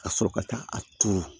Ka sɔrɔ ka taa a turu